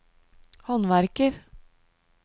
håndverker